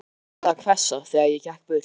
Það var farið að hvessa, þegar ég gekk burt.